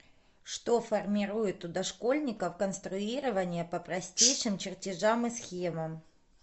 что формирует у дошкольников конструирование по простейшим чертежам и схемам